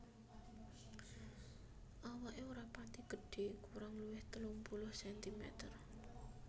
Awaké ora pati gedhé kurang luwih telung puluh sentimeter